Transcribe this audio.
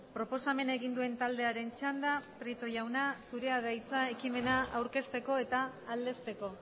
proposamena egin duen taldearen txanda prieto jauna zurea da hitza ekimena aurkezteko eta aldezteko